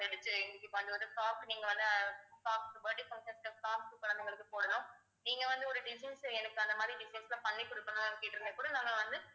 நீங்க வந்து birthday functions ல குழந்தைங்களுக்கு போடணும் நீங்க வந்து ஒரு design எனக்கு அந்த மாதிரி design பண்ணி கொடுக்கணும் கேட்டிருந்தா கூட நாங்க வந்து